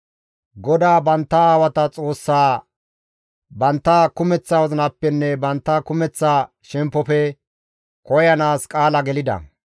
GODAA bantta aawata Xoossaa bantta kumeththa wozinappenne bantta kumeththa shemppofe koyanaas qaala gelida.